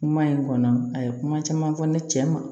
Kuma in kɔnɔ a ye kuma caman fɔ ne cɛ ma